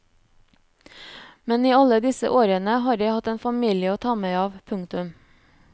Men i alle disse årene har jeg hatt en familie å ta meg av. punktum